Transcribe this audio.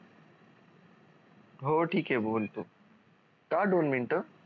हो ठीक आहे बोल तू का दोन मिनिटं